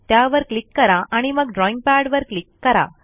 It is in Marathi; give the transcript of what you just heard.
त्यावर क्लिक करा आणि मग ड्रॉईंग पॅडवर क्लिक करा